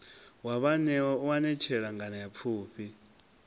wa vhaanewa u anetshela nganeapfhufhi